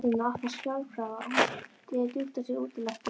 Glerdyrnar opnast sjálfkrafa og hún dregur djúpt að sér útiloftið.